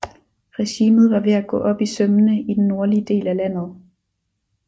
Regimet var ved at gå op i sømmene i den nordlige del af landet